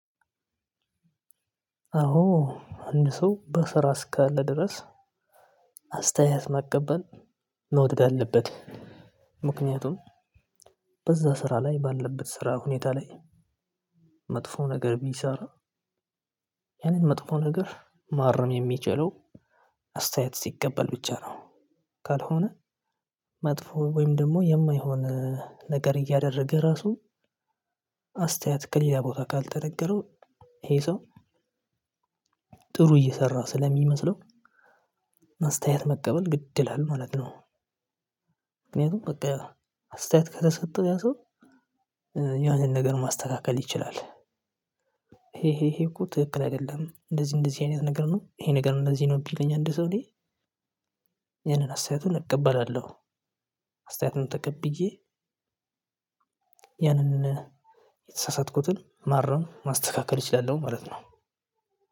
አዎ አንድ ሰው በስራ እስካለ ድረስ አስተያየት መቀበል መውደድ አለበት። ምክንያቱም በዛ ስራ ላይ ባለበት ስራ ሁኔታ ላይ መጥፎ ነገር ቢሰራ ያንን መጥፎ ነገር ማረም የሚችለው አስተያየት ሲቀበል ብቻ ነው። ካልሆነ መጥፎ ወይም ደግሞ የማይሆን ነገር እያደረገ ራሱ አስተያየት ከሌላ ቦታ ካልተነገረው ይሄ ሰው ጥሩ እየሰራ ስለሚመስለው አስተያየት መቀበል ግድ ይላል ማለት ነው። ምክንያቱም በቃ አስተያየት ከተሰጠው ያ ሰው የሆነ ነገር ማስተካከል ይችላል። ይሄ ይሄ እኮ ትክክል አይደለም እንደዚህ እንደዚህ አይነት ነገር ነው ይሄ ነገር እንደዚህ ነው ቢለኝ አንድ ሰው እኔ ያንን አስተያየቱን እቀበላለሁ። አስተያየቱን ተቀብዬ ያንን የተሳሳትኩትን ማረም ማስተካከል እችላለሁ ማለት ነው።